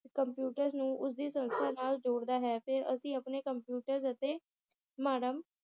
computers ਨੂੰ ਉਸਦੀ ਸੰਸਥਾ ਨਾਲ ਜੋੜਦਾ ਹੈ ਤੇ ਅਸੀ ਆਪਣੇ ਅਤੇ ਮਾਡਮ